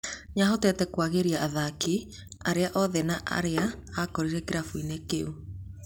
Nĩahotete kwagĩria athaki, arĩa oete na arĩa akorire kĩrabu inĩ kĩu